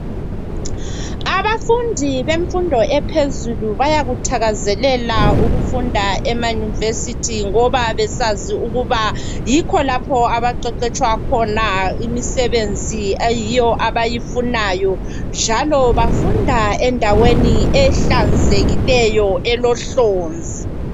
Abafundi bemfundo ephezulu bayakuthakazelela ukufunda emanuvesithi ngoba besazi ukuba yikho lapho abaqeqetshwa khona imisebenzi eyiyo abayifunayo. Njalo bafunda endaweni ehlanzekileyo elohlonzi.